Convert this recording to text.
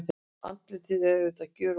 Andlitið er auðvitað gjörólíkt.